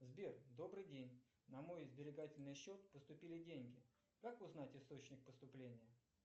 сбер добрый день на мой сберегательный счет поступили деньги как узнать источник поступления